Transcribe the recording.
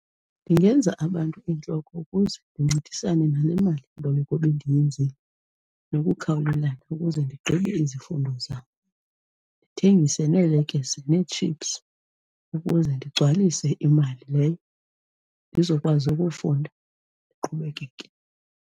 Ndingenza abantu iintloko ukuze ndincedisane nale malimboleko bendiyenzile nokukhawulelana ukuze ndigqibe izifundo zam, ndithengise neelekese nethipsu ukuze ndigcwalise imali leyo ndizokwazi ukufunda, ndiqhubekeke.